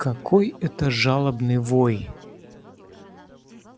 какой это жалобный вой